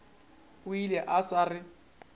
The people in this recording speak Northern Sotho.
o ile a sa re